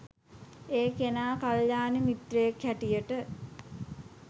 ඒ කෙනා කළ්‍යාණ මිත්‍රයෙක් හැටියට